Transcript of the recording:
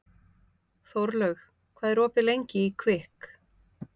Þórlaug, hvað er opið lengi í Kvikk?